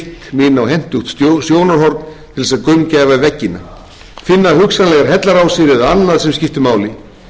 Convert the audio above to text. mig inn á hentugt sjónarhorn til þess að gaumgæfa veggina finna hugsanlegar hellarásir en annað sem skipti máli mikið óskaplega var